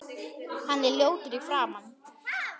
Hann er ljótur í framan.